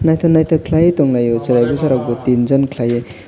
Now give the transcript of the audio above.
naitok naitok kelaioe tonglai o cherai bocha rok bo tin jon kelaioe.